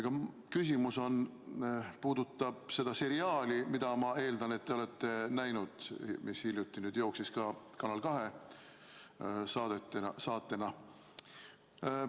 Aga küsimus puudutab seda seriaali, mida ma eeldan, et te olete näinud, mis hiljuti jooksis ka Kanal 2 saatena.